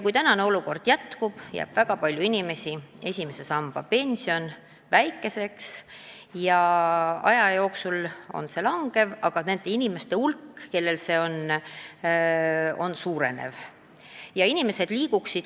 Kui praegune olukord jätkub, jääb väga paljudel inimestel esimese samba pensioniosa väikeseks ja aja jooksul see osa väheneb, aga nende inimeste hulk, kellel see mure on, suureneb.